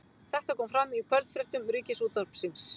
Þetta kom fram í kvöldfréttum Ríkisútvarpsins